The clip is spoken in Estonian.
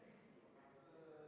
Ei ole.